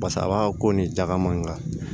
Basa a b'a ko ni jagama in ka